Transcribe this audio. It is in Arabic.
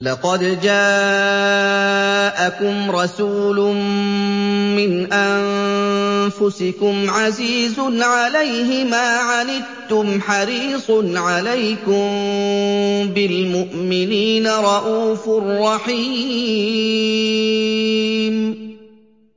لَقَدْ جَاءَكُمْ رَسُولٌ مِّنْ أَنفُسِكُمْ عَزِيزٌ عَلَيْهِ مَا عَنِتُّمْ حَرِيصٌ عَلَيْكُم بِالْمُؤْمِنِينَ رَءُوفٌ رَّحِيمٌ